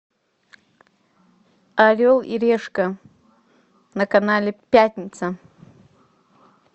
орел и решка на канале пятница